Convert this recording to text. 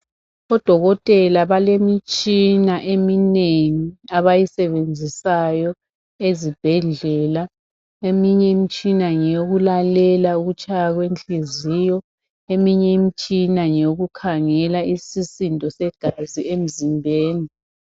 ODokotela balemitshina eminengi abayisebenzisayo ezibhedlela. Eminye imtshina ngeyokulalela ukutshaya kwenhliziyo eminye imitshina ngeyokukhangela isisindo segazi emizimbeni.